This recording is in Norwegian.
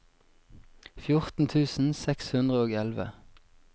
fjorten tusen seks hundre og elleve